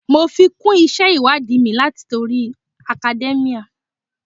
Mo fi kún isẹ ìwádìí mi latori academia.